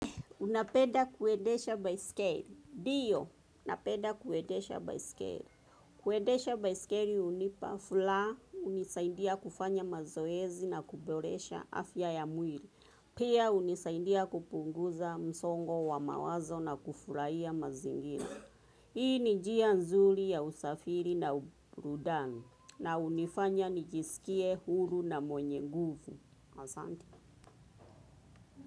Unapenda kuendesha baiskeli. Ndiyo, napenda kuendesha baiskeli. Kuendesha baiskeli hunipa furaha, hunisaidia kufanya mazoezi na kuboresha afya ya mwili. Pia hunisaidia kupunguza msongo wa mawazo na kufurahia mazingira. Hii ni njia nzuri ya usafiri na burudani. Na hunifanya nijisikie huru na mwenye nguvu. Asante.